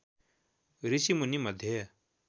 ऋषिमुनी मध्ये